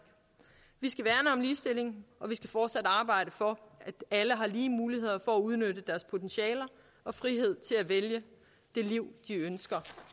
vi skal værne om ligestilling og vi skal fortsat arbejde for at alle har lige muligheder for at udnytte deres potentiale og frihed til at vælge det liv de ønsker